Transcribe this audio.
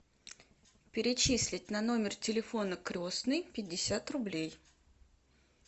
перечислить на номер телефона крестной пятьдесят рублей